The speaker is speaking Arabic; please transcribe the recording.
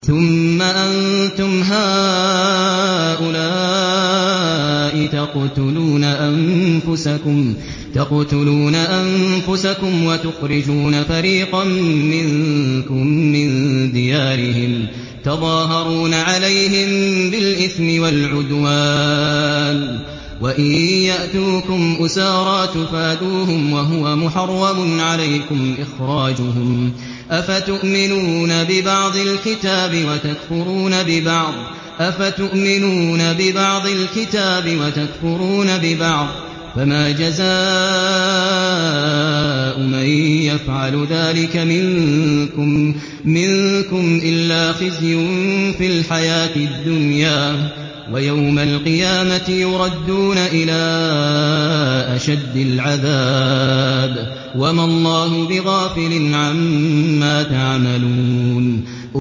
ثُمَّ أَنتُمْ هَٰؤُلَاءِ تَقْتُلُونَ أَنفُسَكُمْ وَتُخْرِجُونَ فَرِيقًا مِّنكُم مِّن دِيَارِهِمْ تَظَاهَرُونَ عَلَيْهِم بِالْإِثْمِ وَالْعُدْوَانِ وَإِن يَأْتُوكُمْ أُسَارَىٰ تُفَادُوهُمْ وَهُوَ مُحَرَّمٌ عَلَيْكُمْ إِخْرَاجُهُمْ ۚ أَفَتُؤْمِنُونَ بِبَعْضِ الْكِتَابِ وَتَكْفُرُونَ بِبَعْضٍ ۚ فَمَا جَزَاءُ مَن يَفْعَلُ ذَٰلِكَ مِنكُمْ إِلَّا خِزْيٌ فِي الْحَيَاةِ الدُّنْيَا ۖ وَيَوْمَ الْقِيَامَةِ يُرَدُّونَ إِلَىٰ أَشَدِّ الْعَذَابِ ۗ وَمَا اللَّهُ بِغَافِلٍ عَمَّا تَعْمَلُونَ